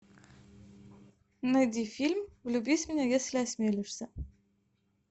найди фильм влюбись в меня если осмелишься